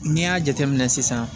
N'i y'a jateminɛ sisan